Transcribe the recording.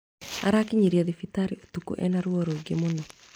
Arakinyirio thibitari ũtuko ena ruo rũingĩ mũno